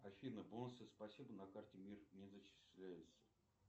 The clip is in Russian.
афина бонусы спасибо на карте мир не зачисляются